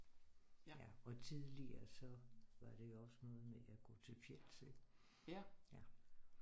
Ja og tidligere så var det jo også noget med at jeg kunne tøffe hjem selv